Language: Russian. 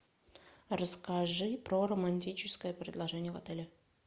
расскажи про романтическое предложение в отеле